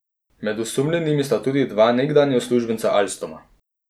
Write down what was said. Med osumljenimi sta tudi dva nekdanja uslužbenca Alstoma.